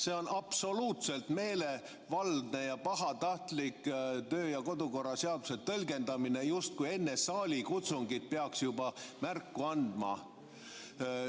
See on absoluutselt meelevaldne ja pahatahtlik kodukorraseaduse tõlgendamine, justkui enne saalikutsungit peaks juba märku andma.